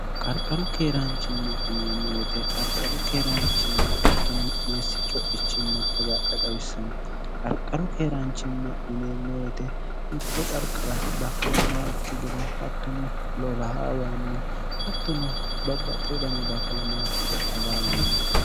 qarqaru keeraanchimma ineemmowete qarqaru keeraanchimma hattuno meessi co'ichimma agadha xawissanno qarqaru keeraanchimma ineemmowete mitto qarqira baakkalamaaokki gede hattuno loloha wayinni hattuno babba xe udani baakkalamaakki gede agara yineemmo